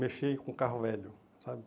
mexer com carro velho, sabe?